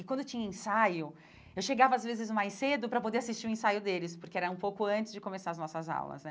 E quando tinha ensaio, eu chegava às vezes mais cedo para poder assistir o ensaio deles, porque era um pouco antes de começar as nossas aulas, né?